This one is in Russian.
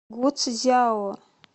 гуцзяо